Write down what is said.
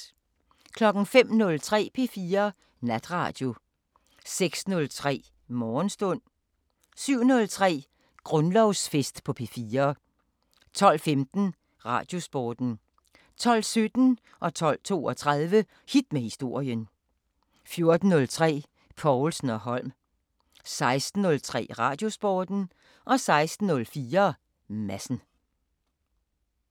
05:03: P4 Natradio 06:03: Morgenstund 07:03: Grundlovsfest på P4 12:15: Radiosporten 12:17: Hit med historien 12:32: Hit med historien 14:03: Povlsen & Holm 16:03: Radiosporten 16:04: Madsen